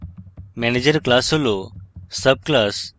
manager class হল subclass